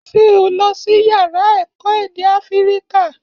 Ṣé o lọsí yàrá èkó èdè áfíríkà?